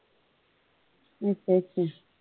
ਅੱਛਾ ਅੱਛਾ।